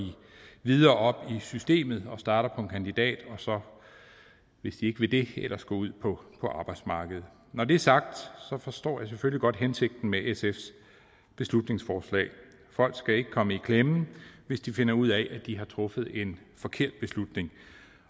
videre op i systemet og starter på en kandidat og hvis de ikke vil det at går ud på arbejdsmarkedet når det er sagt forstår jeg selvfølgelig godt hensigten med sfs beslutningsforslag folk skal ikke komme i klemme hvis de finder ud af at de har truffet en forkert beslutning